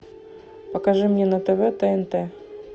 покажи мне на тв тнт